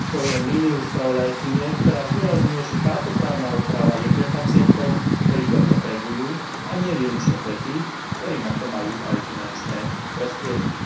Podporujem líniu spravodajkyne, ktorá zdôrazňuje, že táto právna úprava je pre pacientov, ktorí to potrebujú, a nie výlučne pre tých, ktorí na to majú aj finančné prostriedky.